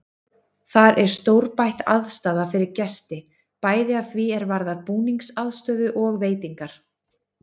Þar er stórbætt aðstaða fyrir gesti, bæði að því er varðar búningsaðstöðu og veitingar.